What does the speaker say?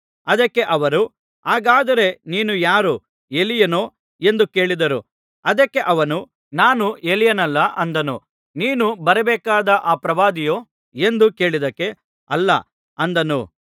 ಅದಕ್ಕೆ ಅವರು ಹಾಗಾದರೆ ನೀನು ಯಾರು ಎಲೀಯನೋ ಎಂದು ಕೇಳಿದರು ಅದಕ್ಕೆ ಅವನು ನಾನು ಎಲೀಯನಲ್ಲ ಅಂದನು ನೀನು ಬರಬೇಕಾದ ಆ ಪ್ರವಾದಿಯೋ ಎಂದು ಕೇಳಿದ್ದಕ್ಕೆ ಅಲ್ಲ ಅಂದನು